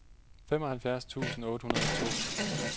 femoghalvfjerds tusind otte hundrede og to